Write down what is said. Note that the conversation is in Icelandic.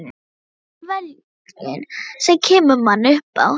En það er viljinn sem kemur manni upp á